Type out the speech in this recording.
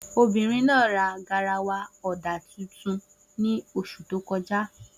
Obìnrin náà ra garawa ọ̀dà tuntun ní oṣù tó kọjá.